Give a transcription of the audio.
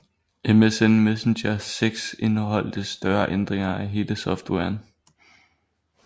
MSN Messenger 6 indeholdt større ændringer af hele softwaren